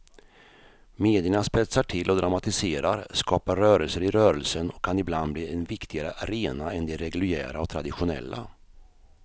Medierna spetsar till och dramatiserar, skapar rörelser i rörelsen och kan ibland bli en viktigare arena än de reguljära och traditionella.